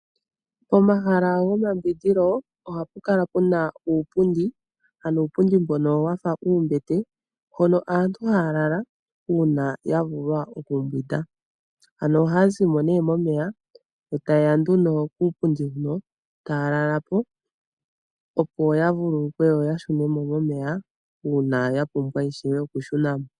Momahala gomambwindilo ohapu kala puna uupundi, ano uupundi mbono wafa uumbete, hono aantu haya lala uuna yavulwa okumbwinda. Ano ohaya zimo nee momeya, e tayeya nduno kuupundi huno, taya lalapo opo yavululukwe, yo yashune mo momeya uuna yapumbwa ishewe okushunamo.